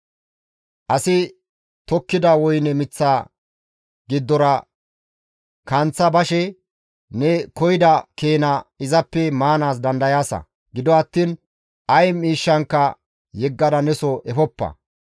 Asi tokkida woyne miththa giddora kanththa bashe ne koyida keena izappe maanaas dandayaasa; gido attiin ay miishshankka yeggada neso efoppa.